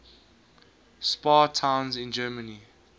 spa towns in germany